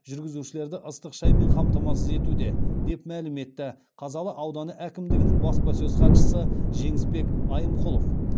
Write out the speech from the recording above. жүргізушілерді ыстық шаймен қамтамасыз етуде деп мәлім етті қазалы ауданы әкімдігінің баспасөз хатшысы жеңісбек айымқұлов